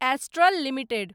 astral limited